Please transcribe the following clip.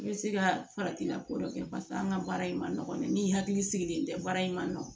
I bɛ se ka faratila ko dɔ kɛ paseke an ka baara in ma nɔgɔn dɛ ni hakili sigilen tɛ baara in ma nɔgɔn